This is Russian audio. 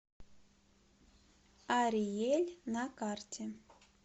ариель на карте